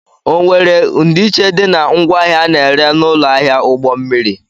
ọ were ndiiche dị na ngwaahịa a na-ere n'ụlọ ahịa ụgbọ mmiri?